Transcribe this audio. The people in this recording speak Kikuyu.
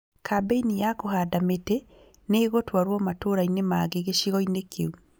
Kambĩini ya kũhanda mĩtĩ nĩĩgũtwarwo matũrainĩ mangĩ gĩcigo-inĩ kĩu